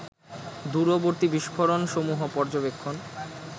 দূরবর্তী বিস্ফোরণসমূহ পর্যবেক্ষণ